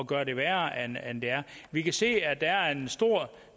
gøre det værre end det er vi kan se at der er en stor